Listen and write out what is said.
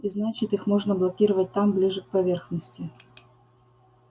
и значит их можно блокировать там ближе к поверхности